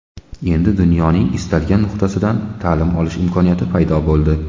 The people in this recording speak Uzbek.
Endi dunyoning istalgan nuqtasidan ta’lim olish imkoniyati paydo bo‘ldi.